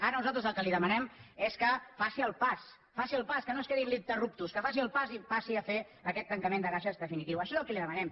ara nosaltres el que li demanem és que faci el pas faci el pas que no es quedi en l’interruptusfaci el pas i passi a fer aquest tancament de caixes definitiu això és el que li demanem